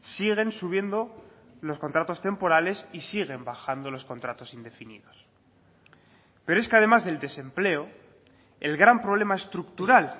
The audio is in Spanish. siguen subiendo los contratos temporales y siguen bajando los contratos indefinidos pero es que además del desempleo el gran problema estructural